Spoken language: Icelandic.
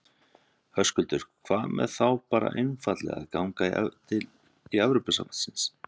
Höskuldur: Hvað með þá bara einfaldlega að ganga í Evrópusambandsins?